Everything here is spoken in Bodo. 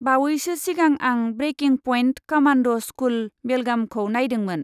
बावैसो सिगां आं 'ब्रेकिं पइन्ट कमान्ड' स्कुल, बेलगाम'खौ नायदोंमोन।